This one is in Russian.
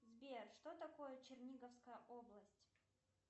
сбер что такое черниговская область